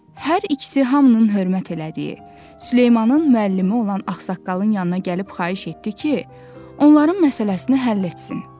Hər ikisi hamının hörmət elədiyi Süleymanın müəllimi olan ağsaqqalın yanına gəlib xahiş etdi ki, onların məsələsini həll etsin.